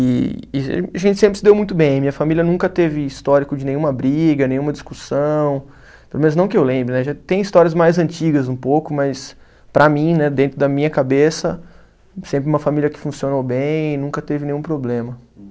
E e ge, a gente sempre se deu muito bem, minha família nunca teve histórico de nenhuma briga, nenhuma discussão, pelo menos não que eu lembre, né, já tem histórias mais antigas um pouco, mas para mim, né, dentro da minha cabeça, sempre uma família que funcionou bem e nunca teve nenhum problema.